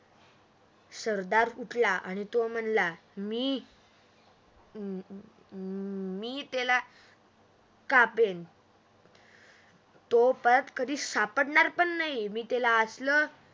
सरदार उठला अन् तो म्हनला मी त्याला कापेन तो परत कधी सापडणार पण नहीं मी त्याला असलं